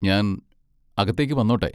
ഞാൻ അകത്തേക്ക് വന്നോട്ടെ?